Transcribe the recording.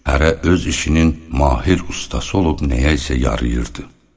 Hərə öz işinin mahir ustası olub nəyəsə yarayırdı.